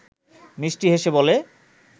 মিষ্টি হেসে বলে